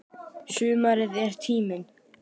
Sumarið er tíminn.